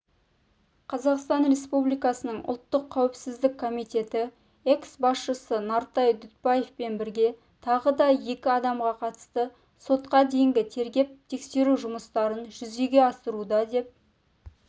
қазақстан республикасының ұлттық қауіпсіздік комитеті экс-басшысы нартай дүтбаевпен бірге тағы да екі адамға қатысты сотқа дейінгі тергеп-тексеру жұмыстарын жүзеге асыруда деп